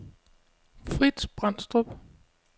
Fritz Brandstrup